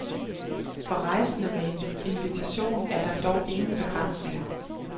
For rejsende med en invitation er der dog ingen begrænsninger.